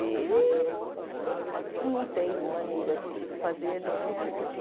E não tem maneira de fazer nenhum tipo de